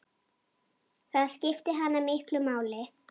Það skipti hana miklu máli.